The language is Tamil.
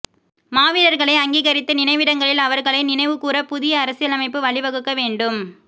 மாவீரர்களை அங்கீகரித்து நினைவிடங்களில் அவர்களை நினைவுகூர புதிய அரசியலமைப்பு வழிவகுக்க வேண்டும்